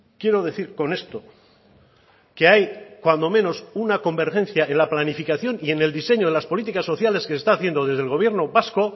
quiero decir con esto que hay cuando menos una convergencia en la planificación y en el diseño de las políticas sociales que se está haciendo desde el gobierno vasco